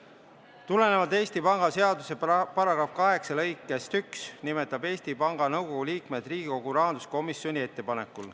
Tulenevalt Eesti Panga seaduse § 8 lõikest 1 nimetab Eesti Panga Nõukogu liikmed Riigikogu rahanduskomisjoni ettepanekul.